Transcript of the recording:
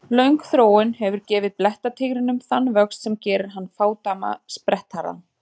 Löng þróun hefur gefið blettatígrinum þann vöxt sem gerir hann fádæma sprettharðan.